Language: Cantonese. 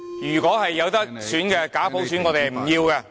如果有得選，我們不要假普選。